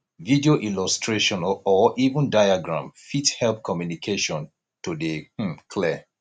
video illustration or even diagram fit help communication to dey um clear